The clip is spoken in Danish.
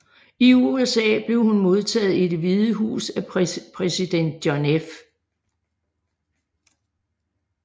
I USA blev hun modtaget i Det Hvide Hus af præsident John F